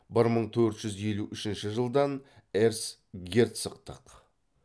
бір мың төрт жүз елу үшінші жылдан эрцгерцогтық